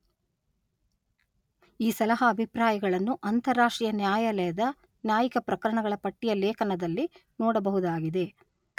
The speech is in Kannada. ಈ ಸಲಹಾ ಅಭಿಪ್ರಾಯಗಳನ್ನು ಅಂತರರಾಷ್ಟ್ರೀಯ ನ್ಯಾಯಾಲಯದ ನ್ಯಾಯಿಕ ಪ್ರಕರಣಗಳ ಪಟ್ಟಿಯ ಲೇಖನದಲ್ಲಿ ನೋಡಬಹುದಾಗಿದೆ.